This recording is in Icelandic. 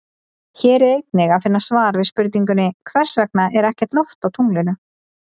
Hér er einnig að finna svar við spurningunni Hvers vegna er ekkert loft á tunglinu?